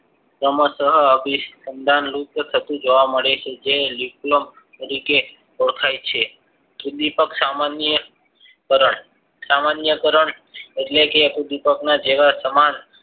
ક્રમશ અભિસંદન લુપ્ત થતું જોવા મળે છે જે લિપલોક તારીકે ઓળખાય છે ઉદ્વિપક સામાન્ય કારણ સામાન્ય કારણ એટલે કે ઉદ્વિપકમાં જ જેવા સમાન